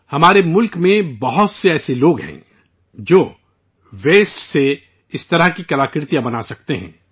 ہمارے ملک میں بہت سارے ایسے لوگ ہیں، جو ویسٹ سے اس طرح کے فن پارے بنا سکتے ہیں